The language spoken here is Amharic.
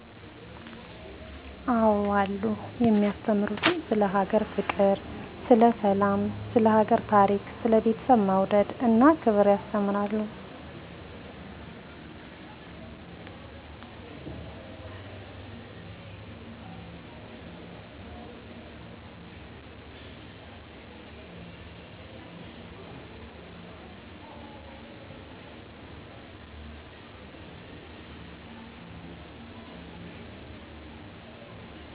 አዎ አሉ የማያስተምሩትም ስለ ሀገር ፍቅር ስለ ሰላም ስለ ሀገር ታሪክ ስለ ቤተሰብ መውደድ እና ክብር ያስተምራሉ